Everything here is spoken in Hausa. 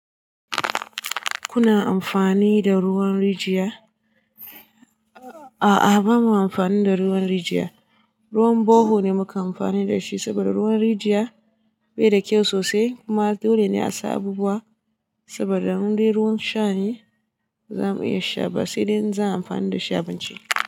Kuna amfani da ruwan rijiya? A'a, ba mu amfani da ruwan rijiya. Ruwan bohole ne muke amfani da shi saboda ruwan rijiya bai da kyau sosai. Kuma dole ne a sa abubuwa saboda indai ruwan sha ne. Ba za mu iya sha ba, sai dai inza mu iya amfani da shi abinci.